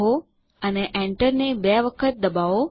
Logarithms લખો અને enter ને બે વખત દબાવો